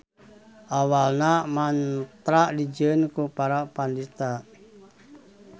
Awalna mantra dijieun ku para pandita.